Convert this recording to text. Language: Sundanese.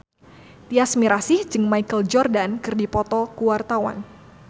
Tyas Mirasih jeung Michael Jordan keur dipoto ku wartawan